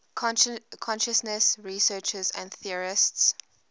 consciousness researchers and theorists